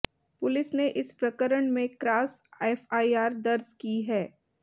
police ने इस प्रकरण में क्रास एफआईआर दर्ज की है